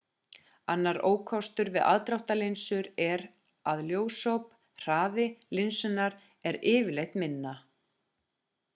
annar ókostur við aðdráttarlinsur er að ljósop hraði linsunnar er yfirleitt minna